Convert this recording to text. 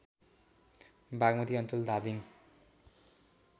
बागमती अञ्चल धादिङ